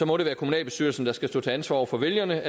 må det være kommunalbestyrelsen der skal stå til ansvar over for vælgerne